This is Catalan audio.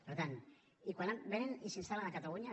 per tant vénen i s’instal·len a catalunya